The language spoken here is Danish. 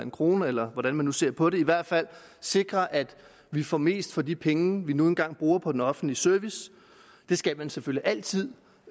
krone eller hvordan man nu ser på det i hvert fald at sikre at vi får mest for de penge vi nu engang bruger på den offentlige service det skal man selvfølgelig altid